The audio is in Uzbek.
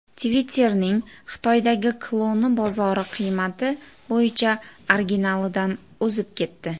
Twitter’ning Xitoydagi kloni bozor qiymati bo‘yicha originalidan o‘zib ketdi.